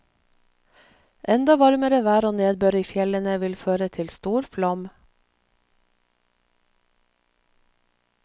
Enda varmere vær og nedbør i fjellene vil føre til stor flom.